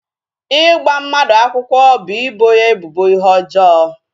Ịgba mmadụ akwụkwọ bụ ịbọ ya ebubo ihe ọjọọ